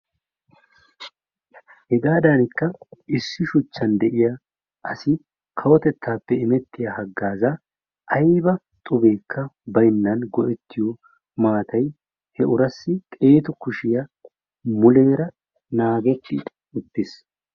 Hegaadankka issi shuchchan de"iya asi kawotettaappe imettiya haggaazaa ayba xubeekka baynnan go"ettiyo maatayi he urassi xeetu kushiya muleera naagetti uttis.